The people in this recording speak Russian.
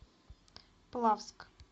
плавск